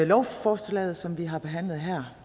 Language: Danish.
lovforslaget som vi har behandlet her